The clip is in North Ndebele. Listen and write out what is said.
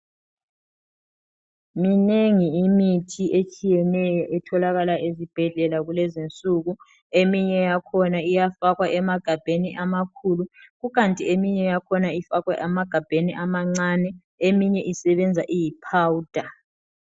Minengi imithi etshiyeneyo etholakala ezibhedlela kulezinsuku, eminye yakhona iyafakwa emagabheni amakhulu, kukanti eminye yakhona ifakwe amagabheni amancane eminye isebenza iyiphawuda.